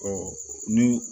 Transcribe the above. ni